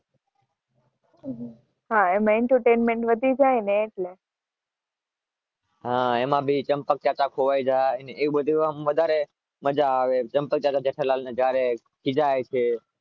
હા એમ એન્ટરટેઇનમેન્ટ વધી જાય